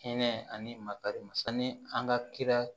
Hinɛ ani makari ma sanni an ka kira